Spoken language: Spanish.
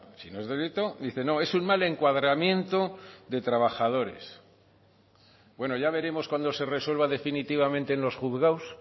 si no es delito dice no es un mal encuadramiento de trabajadores bueno ya veremos cuando se resuelva definitivamente en los juzgados